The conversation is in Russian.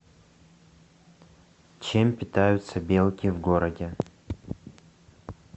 чем питаются белки в городе